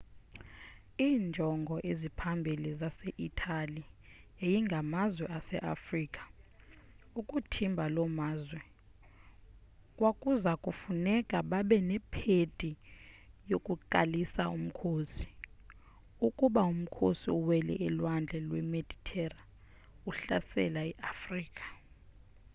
iinjongo eziphambili zase-itali yayingamazwe aseafrika ukuthimba loo mazwe kwakuza kufuneka babe nephedi yokuqalisa umkhosi ukuze umkhosi uwele ulwandle lwemeditera uhlasele iafrika